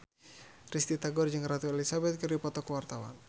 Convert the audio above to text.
Risty Tagor jeung Ratu Elizabeth keur dipoto ku wartawan